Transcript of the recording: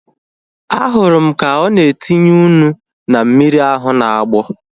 Ahụrụ m ka ọ na-etinye ụnu na mmiri ahu na-agbọ